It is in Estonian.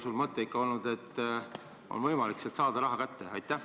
Või on teie mõte olnud, et ikkagi on võimalik sealt raha kätte saada?